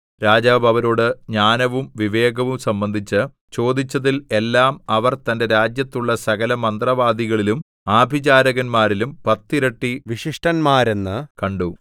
രാജാവ് അവരോട് ജ്ഞാനവും വിവേകവും സംബന്ധിച്ച് ചോദിച്ചതിൽ എല്ലാം അവർ തന്റെ രാജ്യത്തുള്ള സകലമന്ത്രവാദികളിലും ആഭിചാരകന്മാരിലും പത്തിരട്ടി വിശിഷ്ടന്മാരെന്നു കണ്ടു